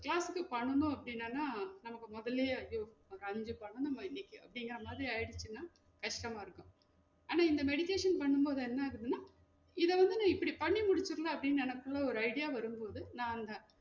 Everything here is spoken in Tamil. Class க்கு பண்ணும் அப்டினன்னா நமக்கு மோதலையே ஐயோ நமக்கு அஞ்சு பண்ணணுமே இன்னைக்கு அப்டிங்குற மாதிரி ஆயிடுச்சுனா கஷ்டமா இருக்கும் ஆன இந்த meditation பண்ணும் போது என்ன ஆகுதுனா இத வந்து நா இப்டி பண்ணி முடிச்சுரலாம் அப்டி நெனப்புல ஒரு idea வரும் போது நா அந்த